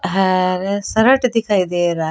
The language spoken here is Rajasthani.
हरे शर्ट दिखाई दे रहा है।